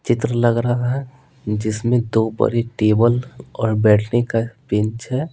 चित्र लग रहा है जिसमें दो बड़े टेबल और बैठने का बेन्च है।